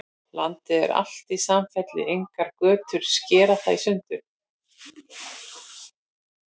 Landið er alt í samfellu, engar götur skera það í sundur.